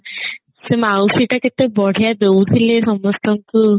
ସେ ମାଉସୀ ଟା କେତେ ବଢିଆ ଦଉଥିଲେ ସମସ୍ତଙ୍କୁ